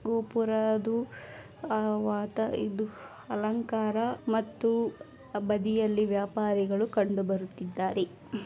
ಗೋಪುರಾದು ಆ ವಾತ ಇದು ಅಲಂಕಾರ ಮತ್ತೂ ಬದಿಯಲ್ಲಿ ವ್ಯಪಾರಿಗಳು ಕಂಡುಬರುತ್ತಿದ್ದಾರೆ.